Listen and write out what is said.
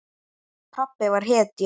Pabbi var hetja.